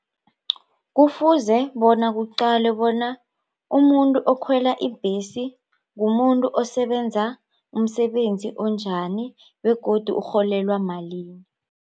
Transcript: Kufuze bona kuqalwe bona umuntu okhwela ibhesi mumuntu osebenza umsebenzi onjani begodu ukurholelwa malini.